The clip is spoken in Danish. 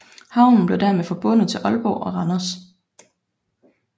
Havnen blev dermed forbundet til Aalborg og Randers